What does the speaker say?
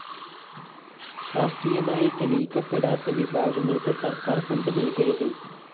ശാസ്ത്രീയമായി തെളിയിക്കപ്പെടാത്ത വിഭാഗങ്ങള്‍ക്ക് സര്‍ക്കാര്‍ ഫണ്ട് നല്‍കരുത്